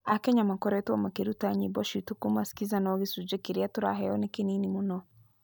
Akenya ma koretwo makĩruta nyĩbociitũ kuma skiza no gĩcunje kĩria tũraheo nĩ kĩnini muno.